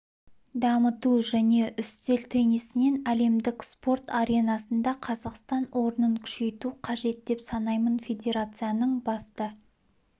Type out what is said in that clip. дамыту және үстел теннисінен әлемдік спорт аренасында қазақстан орнын күшейту қажет деп санаймын федерацияның басты